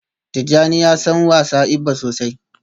Tijjani ya san wasa igba sosai